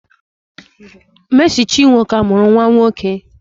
Mercy chinwo ka muru nwa nwoke.